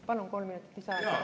Palun kolm minutit lisaaega.